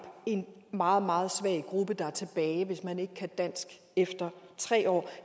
en meget meget svag gruppe der er tilbage hvis man ikke kan dansk efter tre år